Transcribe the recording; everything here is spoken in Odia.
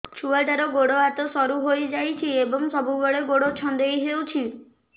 ଛୁଆଟାର ଗୋଡ଼ ହାତ ସରୁ ହୋଇଯାଇଛି ଏବଂ ସବୁବେଳେ ଗୋଡ଼ ଛଂଦେଇ ହେଉଛି